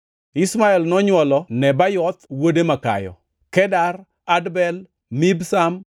Ishmael nonywolo Nebayoth wuode makayo, Kedar, Adbel, Mibsam,